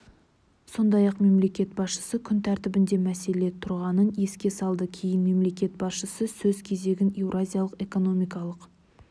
сондай-ақ мемлекет басшысы күн тәртібінде мәселе тұрғанын еске салды кейін мемлекет басшысы сөз кезегін еуразиялық экономикалық